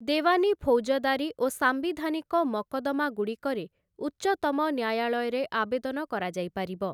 ଦେୱାନୀ ଫୌଜଦାରୀ ଓ ସାମ୍ବିଧାନିକ ମକଦ୍ଦମାଗୁଡ଼ିକରେ ଉଚ୍ଚତମ ନ୍ୟାୟାଳୟରେ ଆବେଦନ କରାଯାଇ ପାରିବ ।